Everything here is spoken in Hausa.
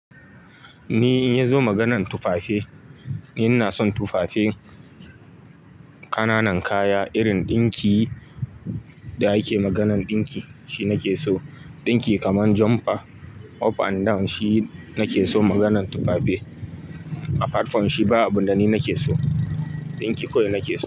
Ni in ya zo maganan tufafe, ina son tufafe, kananan kaya irin ɗinki da ake maganan ɗinki, shi nake so. Ɗinki kaman jumper, up and down shi nake so maganan tufafe. A platform shi ba abunda ni nake so. Ɗinki kawai nake so.